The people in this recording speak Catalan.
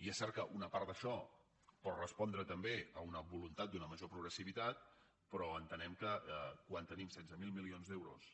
i és cert que una part d’això pot respondre també a una voluntat d’una major progressivitat però entenem que quan tenim setze mil milions d’euros